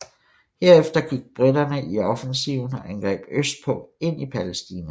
Herefter gik briterne i offensiven og angreb østpå ind i Palæstina